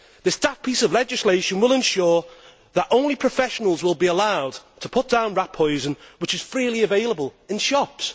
This daft piece of legislation will ensure that only professionals will be allowed to put down rat poison, which is freely available in shops.